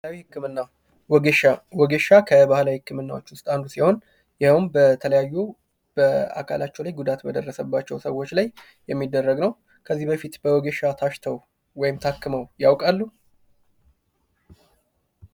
ባህላዊ ህክምና ወጌሻ። ወጌሻ ከባህላዊ ህክምናዎች ውስጥ አንዱ ሲሆን ይህም በተለያዩ በአካላቸው ላይ ጉዳት በደረሰባቸዉ ሰዎች ላይ የሚደረግ ነው። ከዚህ በፊት በወጌሻ ታሽተው ወይም ታክመው ያውቃሉ?